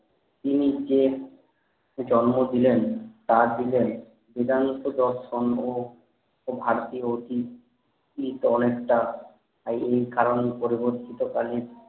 তিনি যে জন্ম দিলেন তা দিলেন নিদ্ধান্ত পথ সম্ভ ও ভাগ্যে অতীত ঠিক অনেকটা তাই এই কারণেই পরবর্তীত কালে